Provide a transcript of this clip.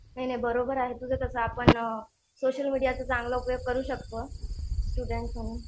नाही नाही बरोबर आहे तुझं तसं आपण सोशल मीडियाचा चांगला उपयोग करू शकतो स्टुडन्ट म्हणून.